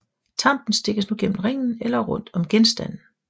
Tampen stikkes nu gennem ringen eller rundt om genstanden